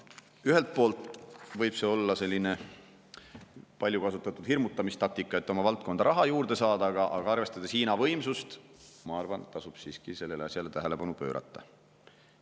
Ühelt poolt võib see olla palju kasutatud hirmutamistaktika, et oma valdkonda raha juurde saada, aga arvestades Hiina võimsust, ma arvan, et tasub siiski sellele tähelepanu pöörata.